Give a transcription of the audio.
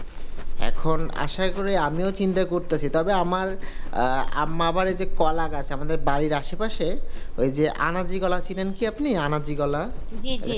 এখন আশা করি আমিও চিন্তা করতেছি তবে আমার আর আমার এই যে কলা গাছ বাড়ির আশেপাশে ওই যে আনাজি কলা চিনেন কি আপনি? আনাজি যে কলা